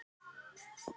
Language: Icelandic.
Bara eins og hann er.